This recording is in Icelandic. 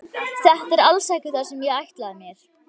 Þetta er alls ekki það sem ég ætlaði mér.